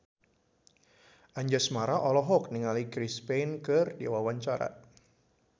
Anjasmara olohok ningali Chris Pane keur diwawancara